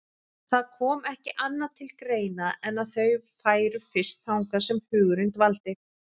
Það kom ekki annað til greina en að þau færu fyrst þangað sem hugurinn dvaldi.